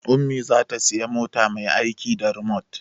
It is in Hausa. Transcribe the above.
Ummi za ta siya mota mai aiki da rimot